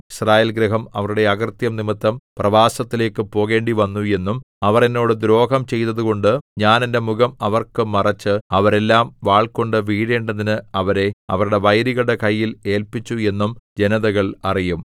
യിസ്രായേൽഗൃഹം അവരുടെ അകൃത്യം നിമിത്തം പ്രവാസത്തിലേക്കു പോകേണ്ടിവന്നു എന്നും അവർ എന്നോട് ദ്രോഹം ചെയ്തതുകൊണ്ട് ഞാൻ എന്റെ മുഖം അവർക്ക് മറച്ച് അവരെല്ലാം വാൾകൊണ്ടു വീഴേണ്ടതിന് അവരെ അവരുടെ വൈരികളുടെ കയ്യിൽ ഏല്പിച്ചു എന്നും ജനതകൾ അറിയും